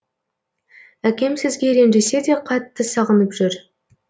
әкем сізге ренжісе де қатты сағынып жүр